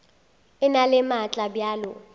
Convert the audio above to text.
e na le maatla bjalo